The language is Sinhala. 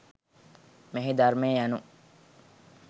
මෙහි ධර්මය යනු